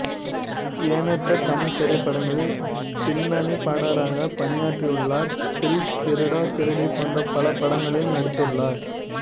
எண்ணற்ற தமிழ்த் திரைப்படங்களில் பின்னணிப் பாடகராக பணியாற்றியுள்ளார் தில் திருடா திருடி போன்ற பல படங்களில் நடித்துள்ளார்